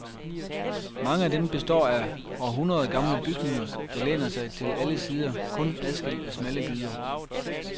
Mange af dem består af århundreder gamle bygninger, der læner sig til alle sider kun adskilt af smalle gyder.